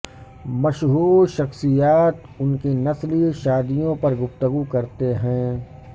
مشہور شخصیات ان کی نسلی شادیوں پر گفتگو کرتے ہیں